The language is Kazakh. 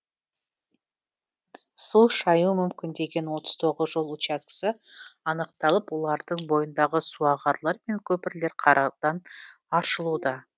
су шаюы мүмкін деген отыз тоғыз жол учаскесі анықталып олардың бойындағы суағарлар мен көпірлер қардан аршылуда